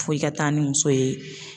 Foyi ka taa ni muso ye.